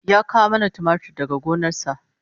Ya kawo mana tumatir daga gona sa